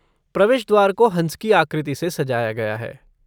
प्रवेश द्वार को हंस की आकृति से सजाया गया है।